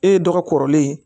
E ye dɔgɔ kɔrɔlen ye